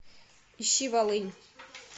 ищи волынь